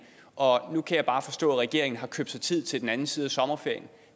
og nu kan jeg bare forstå at regeringen har købt sig tid til den anden side af sommerferien